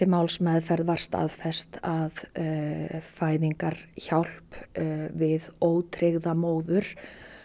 málsmeðferð var staðfest að fæðingarhjálp við ótryggða móður